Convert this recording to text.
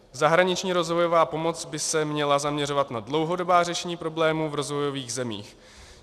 Zahraniční rozvojová pomoc by se měla zaměřovat na dlouhodobá řešení problémů v rozvojových zemích.